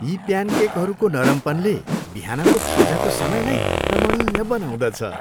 यी प्यानकेकहरूको नरमपनले बिहानको खाजाको समयलाई रमणीय बनाउँदछ।